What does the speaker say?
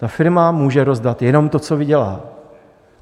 Ta firma může rozdat jenom to, co vydělá.